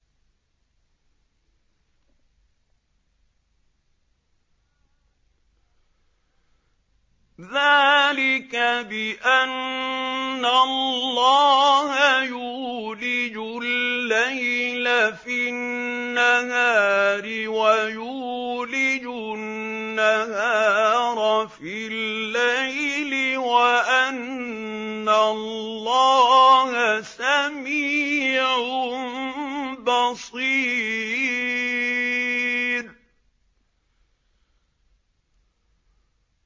ذَٰلِكَ بِأَنَّ اللَّهَ يُولِجُ اللَّيْلَ فِي النَّهَارِ وَيُولِجُ النَّهَارَ فِي اللَّيْلِ وَأَنَّ اللَّهَ سَمِيعٌ بَصِيرٌ